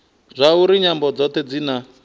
zwauri nyambo dzothe dzi na